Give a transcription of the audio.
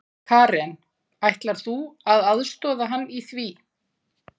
Karen: Ætlar þú að aðstoða hann í því?